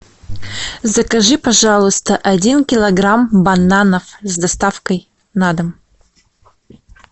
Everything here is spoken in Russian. закажи пожалуйста один килограмм бананов с доставкой на дом